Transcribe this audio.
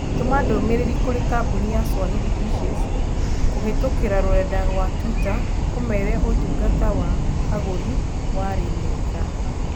Tũma ndũmĩrĩri kũrĩ kambũni ya Swahili dishes kuhitũkīra rũrenda rũa tũita ũmeere ũtungata wa agũri warĩ mwega.